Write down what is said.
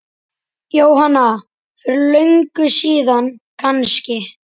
Jóhanna: Fyrir löngu síðan kannski?